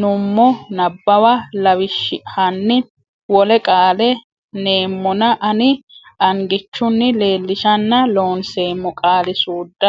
nummo Nabbawa lawishshi hanni wole qaale neemmona ani angichunni leellishanna Loonseemmo Qaali suudda.